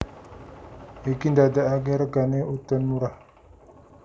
Iki ndadekake regane udon murah